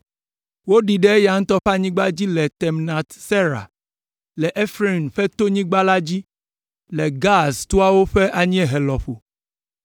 Woɖii ɖe eya ŋutɔ ƒe anyigba dzi le Timnat Sera, le Efraim ƒe tonyigba la dzi, le Gaas toawo ƒe anyiehe lɔƒo.